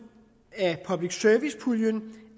af public service puljen